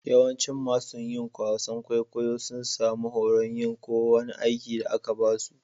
Yawancin masun yin wasan kwaikwayo sun samu horon yin ko wani aiki da aka ba su.